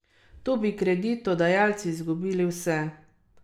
Tu bi kreditodajalci izgubili vse.